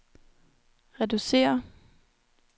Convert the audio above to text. reducere